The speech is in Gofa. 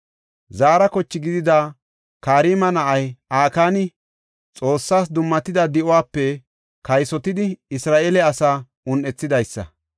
Zaara koche gidida Karma na7ay Akaani Xoossas dummatida di7uwape kaysotidi Isra7eele asaa un7ethidaysa.